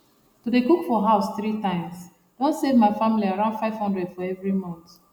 to dey cook for house 3 times don save ma family around 500 for every month